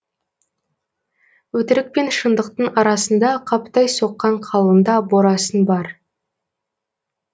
өтірік пен шындықтың арасында қаптай соққан қалыңда борасын бар